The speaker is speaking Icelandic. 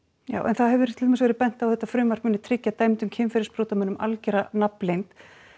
já en það hefur til dæmis verið bent á að þetta frumvarp muni tryggja dæmdum kynferðisbrotamönnum algera nafnleynd